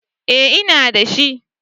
Eh ina da shi.